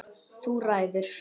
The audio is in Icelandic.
Þú ræður.